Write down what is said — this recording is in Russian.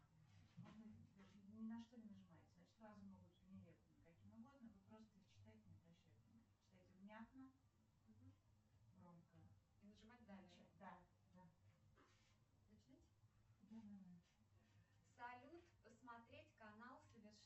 салют посмотреть канал